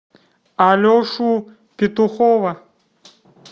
алешу петухова